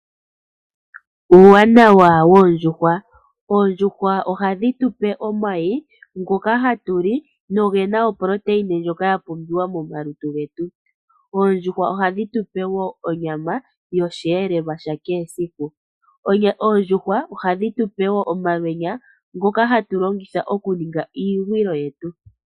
Uuwanawa woondjuhwa, oondjuhwa ohadhi tupe omayi ngoka hatu li nogena oproteine ndjoka yapumbiwa momalutu getu. Oondjuhwa ohadhi tupe woo onyama yoshiyelelwa shakehe esiku. Oondjuhwa ohadhi tupe woo omalwenya ngoka hatu longitha okuninga iigwilo yetu.